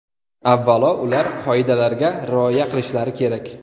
Avvalo, ular qoidalarga rioya qilishlari kerak.